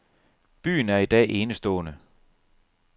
Byen er i dag enestående.